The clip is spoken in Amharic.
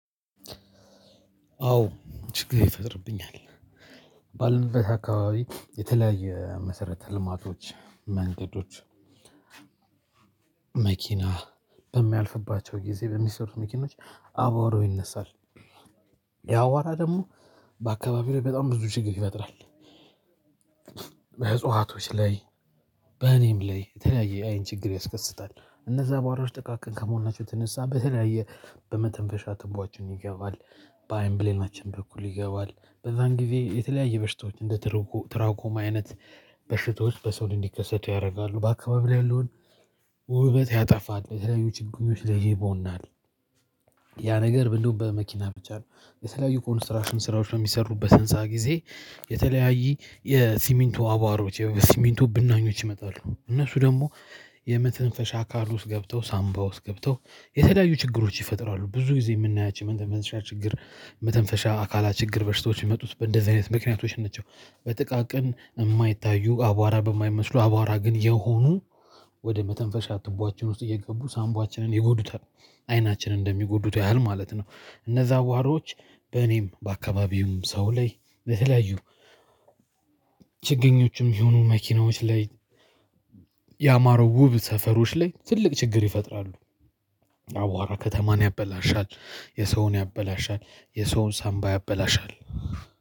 አዎ ችግር ይፈጥርብኛል። ባለንበት አካባቢ የተለያየ መሰረተ ልማቶች መንገዶች መኪና በሚያልፍባቸው ጊዜ በሚሰሩት መኪኖች አቧራው ይነሳል ያ አቧራ ደግሞ በአካባቢው በጣም ብዙ ችግር ይፈጥራል። በእጽዋቶች ላይ በእኔም ላይ የተለያየ አይነት ችግር ያስከስታል እነዛ አቧራዎች ጥቃቅን ከመሆናቸው የተነሳ በተለያየ በመተንፈሻ ትቧችን ይገባል። በአይን ብሌናችን በኩል ይገባል በዛን ጊዜ የተለያየ በሽታዎች እንደ ትርኩ ትራኮማ አይነት በሽታዎች በሰው ላይ እንዲከሰቱ ያደርጋሉ። በአካባቢው ላይ ያለውን ውበት ያጠፋል የተለያዩ ችግሮች ላይ ይቦናል። ያ ነገር እንደውም በመኪና ብቻ ነው። የተለያዩ ኮንስትራክሽን ስራዎች በሚሰሩበት ህንፃ ጊዜ የተለያዬ የሲሚንቶ አቧራዎቼ የሲሚንቶ ብናኞች ይመጣሉ እነሱ ደግሞ የመተንፈሻ አካል ውስጥ ገብተው ሳምባ ውስጥ ገብተው የተለያዩ ችግሮች ይፈጥራሉ። ብዙ ጊዜ የምናያቸው መተንፈሻ ችግር መተንፈሻ አካላት ችግር በሽታዎች የሚመጡት በእንደዚህ አይነት ምክንያቶች ናችው። በጥቃቅን የማይታዩ አቧራ በማይመስሉ አቧራ ግን የሆኑ ወደ መተንፈሻ ትቧችን ውስጥ እየገቡ ሳንባችንን ይጎዱታል። አይናችን እንደሚጎዱት ያህል ማለት ነው። እነዛ አቧራዎች በእኔም በአካባቢም ሰው ላይ በተለያዩ ችግኞችም ይሁኑ መኪናዎች ላይ ያማሩ ውብ ሰፈሮች ላይ ትልቅ ችግር ይፈጥራሉ። አቧራ ከተማን ያበላሻል የሰውን ያበላሻል የሰውን ሳምባ ያበላሻል።